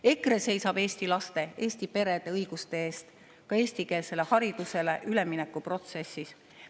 EKRE seisab eesti laste, eesti perede õiguste eest ka eestikeelsele haridusele ülemineku protsessis.